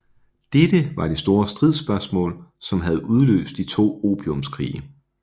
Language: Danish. Dette var det store stridsspørgsmål som havde udløst de to opiumskrige